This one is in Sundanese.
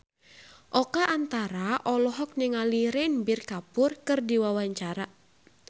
Oka Antara olohok ningali Ranbir Kapoor keur diwawancara